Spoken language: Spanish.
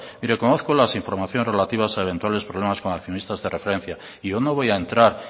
mire conozco las informaciones relativas a eventuales problemas como accionista de referencia y yo no voy a entrar